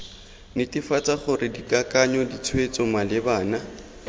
netefatsa gore dikakanyo ditshwetso malebana